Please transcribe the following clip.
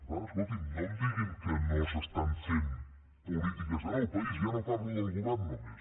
per tant escolti’m no em diguin que no s’estan fent polítiques en el país ja no parlo del govern només